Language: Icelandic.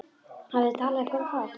Hafið þið talað eitthvað um það?